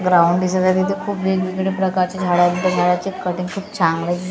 Ground दिसत आहे तिथे खूप वेगवेगळ्या प्रकारचे झाडं आहेत त्या झाडाचे कटिंग खूप चांगले आहेत.